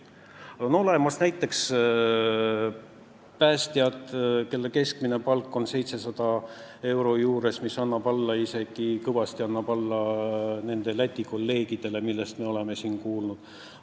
Meil on näiteks päästjate keskmine palk 700 euro juures, mis jääb kõvasti alla nende Läti kolleegidele, nagu me oleme siin kuulnud.